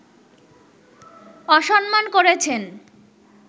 অসম্মান করেছেন